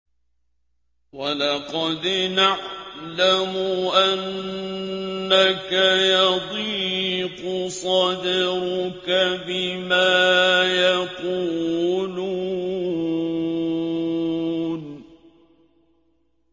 وَلَقَدْ نَعْلَمُ أَنَّكَ يَضِيقُ صَدْرُكَ بِمَا يَقُولُونَ